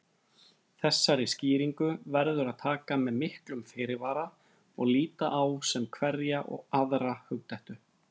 Þessari skýringu verður að taka með miklum fyrirvara og líta á sem hverja aðra hugdettu.